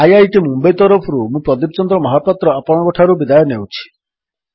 IIT Mumbai ତରଫରୁ ମୁଁ ପ୍ରଦୀପ ଚନ୍ଦ୍ର ମହାପାତ୍ର ଆପଣଙ୍କଠାରୁ ବିଦାୟ ନେଉଛି